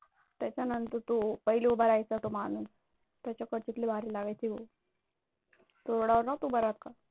त्याच्यानंतर तो पहिली उभा राहायचा तो माणूस, त्याच्याकडची तर लय भारी लागायची तो. रोडावर नव्हता उभा राहत का?